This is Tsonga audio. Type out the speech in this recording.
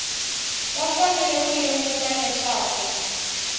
va fanele ku lemuka leswaku